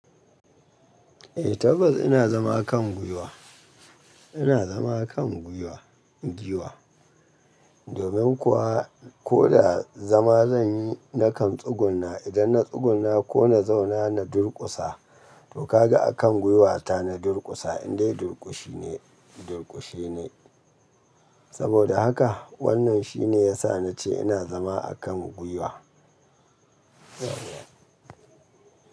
Eh tabbas ina zama kan gwiwa, ina zama kan gwiwa, giwa. Domin kuwa ko da zama zan yi na kan tsugunna idan na tsugunna ko na zauna na durƙusa to ka ga a kan gwiwata na durƙusa indai durƙushi ne, durƙushi ne. Saboda haka wannan shi ne ya sa na ce ina zama a kan gwiwa.